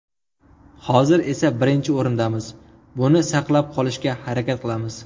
Hozir esa birinchi o‘rindamiz, buni saqlab qolishga harakat qilamiz.